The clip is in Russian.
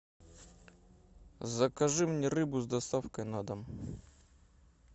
закажи мне рыбу с доставкой на дом